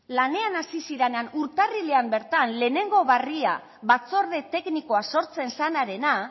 lanean hasi zirenean urtarrilean bertan lehengo berria batzorde teknikoa sortzen zenarena